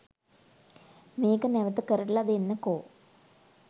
මේක නැවත කරල දෙන්නකෝ